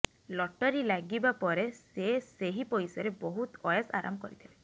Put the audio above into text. lottery ଲାଗିବା ପରେ ସେ ସେହି ପଇସାରେ ବହୁତ ଅଏସ୍ ଆରାମ କରିଥିଲେ